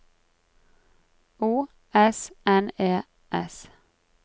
O S N E S